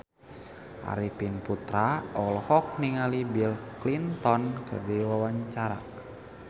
Arifin Putra olohok ningali Bill Clinton keur diwawancara